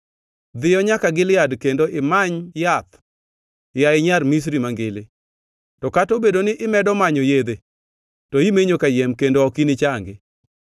“Dhiyo nyaka Gilead kendo imany yath, yaye Nyar Misri Mangili. To kata obedo ni imedo manyo yedhe to imenyo kayiem kendo ok inichangi.